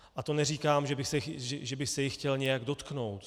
A to neříkám, že bych se jich chtěl nějak dotknout.